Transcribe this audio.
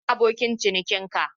Ina abokin ciniki ka?